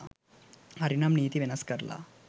හරිනම් නීති වෙනස් කරලා